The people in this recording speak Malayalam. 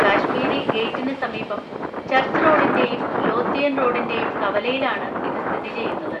കശ്മീരി ഗേറ്റിന് സമീപം, ചർച്ച് റോഡിന്‍റെയും ലോത്തിയൻ റോഡിന്‍റെയും കവലയിലാണ് ഇത് സ്ഥിതി ചെയ്യുന്നത്.